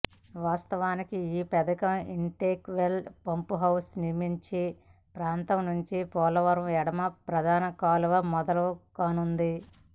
వాస్తవానికి ఈ పథకం ఇన్టేక్ వెల్ పంపుహౌస్ నిర్మించే ప్రాంతం నుంచే పోలవరం ఎడమ ప్రధాన కాల్వ మొదలు కానుంది